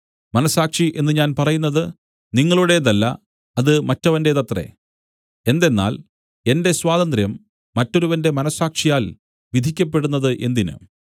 മനസ്സാക്ഷി എന്നു ഞാൻ പറയുന്നത് നിങ്ങളുടേതല്ല അത് മറ്റവന്റേതത്രേ എന്തെന്നാൽ എന്റെ സ്വാതന്ത്ര്യം മറ്റൊരുവന്റെ മനസ്സാക്ഷിയാൽ വിധിക്കപ്പെടുന്നത് എന്തിന്